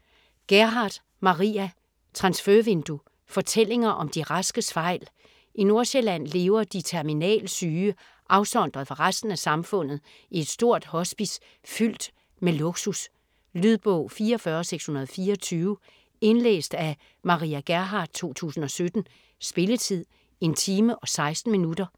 Gerhardt, Maria: Transfervindue: fortællinger om de raskes fejl I Nordsjælland lever de terminal syge afsondret fra resten af samfundet i et stort hospice fyldt med luksus. Lydbog 44624 Indlæst af Maria Gerhardt, 2017. Spilletid: 1 time, 16 minutter.